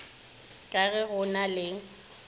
ka ge go na le